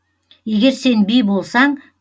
егер сен би болсаң